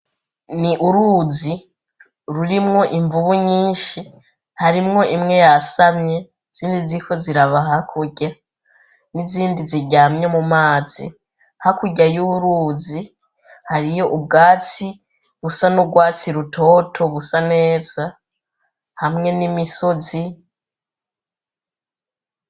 Ni uruzi rurimwo imvubu nyinshi, harimwo imwe yasamye izindi ziriko ziraba hakurya, n'izindi ziryamye mu mazi. Hakurya y'uruzi hariyo ubwatsi busa n'urwatsi rutoto, busa neza hamwe n'imisozi.